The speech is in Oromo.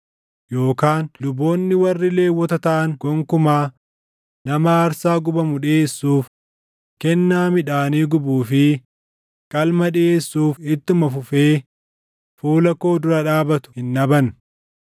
yookaan luboonni warri Lewwota taʼan gonkumaa nama aarsaa gubamu dhiʼeessuuf, kennaa midhaanii gubuu fi qalma dhiʼeessuuf ittuma fufee fuula koo dura dhaabatu hin dhaban.’ ”